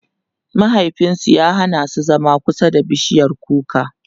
mahaifinsu ya Hana su zama kusa da bishiyar kuka